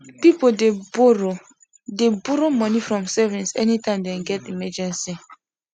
people dey borrow dey borrow money from savings anytime them get emergency